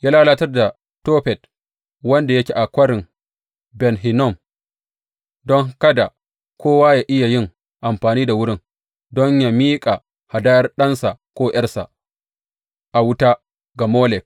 Ya lalatar da Tofet, wanda yake a Kwarin Ben Hinnom, don kada kowa yă iya yin amfani da wurin don yă miƙa hadayar ɗansa, ko ’yarsa a wuta ga Molek.